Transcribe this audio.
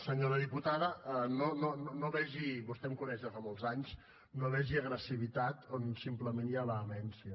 senyora diputada no vegi vostè em coneix de fa molts anys agressivitat on simplement hi ha vehemència